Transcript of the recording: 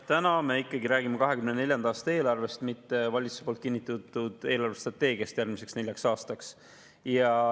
Täna me ikkagi räägime 2024. aasta eelarvest, mitte valitsuse kinnitatud eelarvestrateegiast järgmiseks neljaks aastaks.